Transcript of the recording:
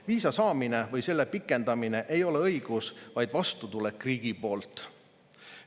Viisa saamine või selle pikendamine ei ole õigus, vaid vastutulek riigi poolt.